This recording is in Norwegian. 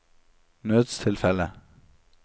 nødstilfelle